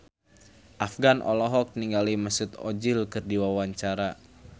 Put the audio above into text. Afgan olohok ningali Mesut Ozil keur diwawancara